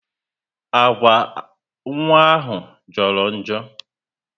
Agwa nwa ahụ joro njo